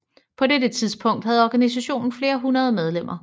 På dette tidspunkt havde organisationen flere hundrede medlemmer